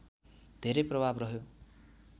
धेरै प्रभाव रह्यो